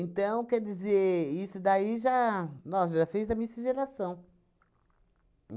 quer dizer, isso daí já... Nossa, já fiz a miscigenação.